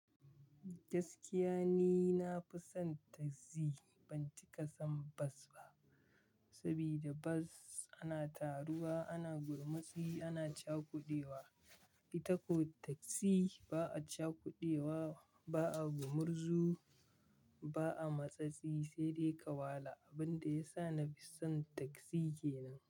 Gaskiya ni nafi son taksi, ban ci ƙasan bas ba. Saboda bas ana taruwa, ana gurmutsi, ana cakudewa. Ita ko taksi ba a cakudewa, ba a gurmuzu, ba a matsatsi, sai dai kawala abin da ya sa na fi son taksi kenan.